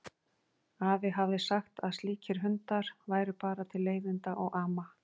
Afi hafði sagt að slíkir hundar væru bara til leiðinda og ama.